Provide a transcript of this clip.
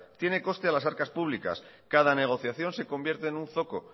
tiene coste en las arcas públicas cada negociación se convierte en un zoco